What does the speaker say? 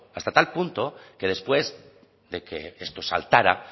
hasta tal punto que después de que esto saltara